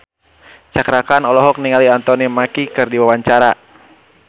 Cakra Khan olohok ningali Anthony Mackie keur diwawancara